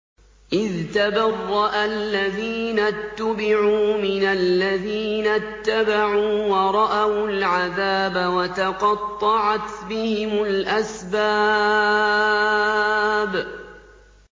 إِذْ تَبَرَّأَ الَّذِينَ اتُّبِعُوا مِنَ الَّذِينَ اتَّبَعُوا وَرَأَوُا الْعَذَابَ وَتَقَطَّعَتْ بِهِمُ الْأَسْبَابُ